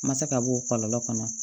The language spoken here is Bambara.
Ma se ka bɔ o kɔlɔlɔ kɔnɔ